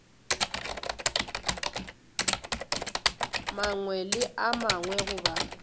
mangwe le a mangwe goba